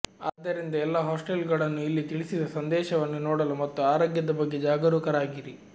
ಆದ್ದರಿಂದ ಎಲ್ಲಾ ಹಾಸ್ಟೆಲ್ಗಳನ್ನು ಇಲ್ಲಿ ತಿಳಿಸಿದ ಸಂದೇಶವನ್ನು ನೋಡಲು ಮತ್ತು ಆರೋಗ್ಯದ ಬಗ್ಗೆ ಜಾಗರೂಕರಾಗಿರಿ